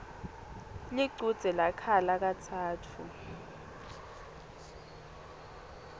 lichudze lakhala katsatfu